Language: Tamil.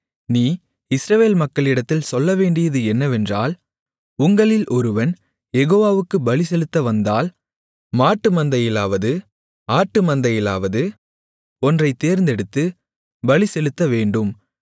நீ இஸ்ரவேல் மக்களிடத்தில் சொல்லவேண்டியது என்னவென்றால் உங்களில் ஒருவன் யெகோவாவுக்குப் பலிசெலுத்த வந்தால் மாட்டுமந்தையிலாவது ஆட்டுமந்தையிலாவது ஒன்றைத் தேர்ந்தெடுத்து பலிசெலுத்தவேண்டும்